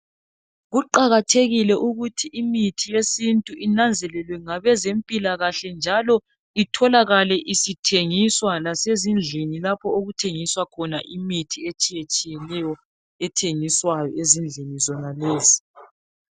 Kuqakathekile ukuthi imithi yesintu inanzelelwe ngabezempilakahle njalo itholakalale ithengiswa lasezindlini lapho okuthengiswa khona imithi etshiyetshiyeneyo ethengiswayo ezindlini zonalezi.